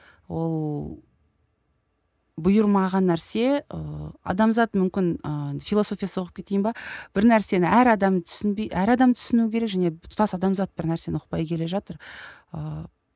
ол бұйырмаған нәрсе ыыы адамзат мүмкін ы философия соғып кетейін бе бір нәрсені әр адам түсінбей әр адам түсіну керек және тұтас адамзат бір нәрсені ұқпай келе жатыр ыыы